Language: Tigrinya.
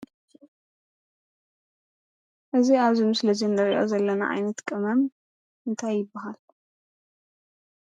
እዙይ ኣብዚ ምስሊ እንርእዮ ዘለና ዓይነት ቅመም እንታይ ይብሃል?